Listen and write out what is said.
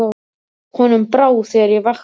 Honum brá þegar ég vakti hann.